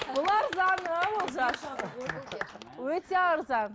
бұл арзаны олжас өте арзан